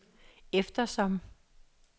eftersom